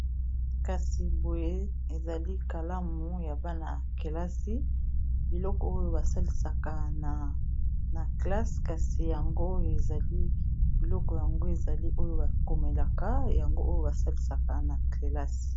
Kasi boye ezali kalamu ya bana ya kelasi biloko oyo basalisaka na classe kasi yango ezali biloko yango ezali oyo bakomelaka yango oyo basalisaka na kelasi.